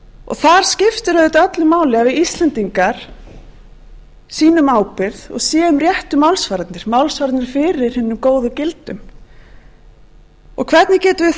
þar skiptir auðvitað öllu máli að við íslendingar sýnum ábyrgð og séum réttu málsvararnir málsvararnir fyrir hinum góðu gildum hvernig getum við